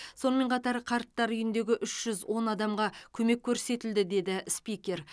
сонымен қатар қарттар үйіндегі үш жүз он адамға көмек көрсетілді деді спикер